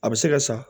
A bɛ se ka sa